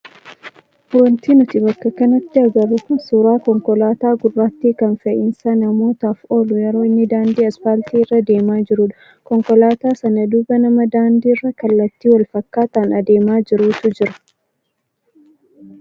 Wanti nuti bakka kanatti agarru kun suuraa konkolaataa gurraattii kan fe'iisa namootaaf oolu yeroo inni daandii asfaaltii irra adeemaa jirudha. Konkolaataa sana duuba nama daandiirra kallattii wal fakkaataan adeemaa jirutu jira.